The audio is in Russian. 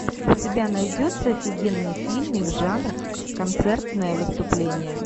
у тебя найдется офигенный фильмик жанра концертное выступление